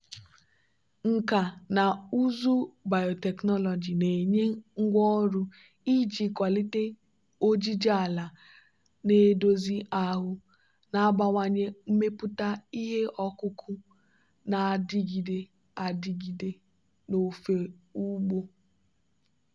nkà na ụzụ biotechnology na-enye ngwá ọrụ iji kwalite ojiji ala na-edozi ahụ na-abawanye mmepụta ihe ọkụkụ na-adịgide adịgide n'ofe ugbo.